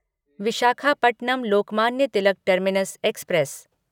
Visakhapatnam Lokmanya Tilak terminus express